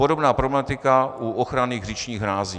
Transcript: Podobná problematika u ochrany říčních hrází.